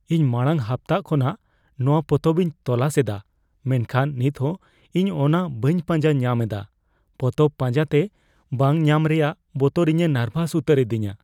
ᱤᱧ ᱢᱟᱲᱟᱝ ᱦᱟᱯᱛᱟ ᱠᱷᱚᱱᱟᱜ ᱱᱚᱶᱟ ᱯᱚᱛᱚᱵ ᱤᱧ ᱛᱚᱞᱟᱥ ᱮᱫᱟ ᱢᱮᱱᱠᱷᱟᱱ ᱱᱤᱛᱦᱚᱸ ᱤᱧ ᱚᱱᱟ ᱵᱟᱹᱧ ᱯᱟᱸᱡᱟ ᱧᱟᱢ ᱮᱫᱟ ᱾ ᱯᱚᱛᱚᱵ ᱯᱟᱸᱡᱟᱛᱮ ᱵᱟᱝ ᱧᱟᱢ ᱨᱮᱭᱟᱜ ᱵᱚᱛᱚᱨ ᱤᱧᱮ ᱱᱟᱨᱵᱷᱟᱥ ᱩᱛᱟᱹᱨ ᱤᱫᱤᱧᱟ ᱾